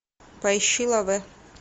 поищи лавэ